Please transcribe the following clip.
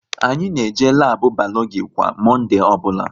Anyị na-eje labu Balogi kwa Monde ọbụla